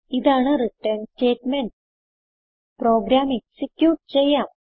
ഇതാണ് return statement program execute ചെയ്യാം